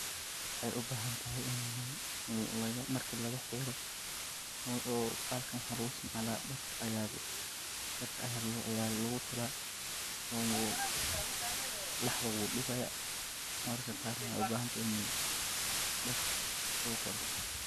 Wexey ubahantahay in marki lagaxiro oo bahalkan waxa luguisticmala dharka aya lugutola oo laxda wudibaya mararka qar waxay ubahanta inii darka lugutalo.